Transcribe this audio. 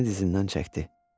Əlini dizindən çəkdi.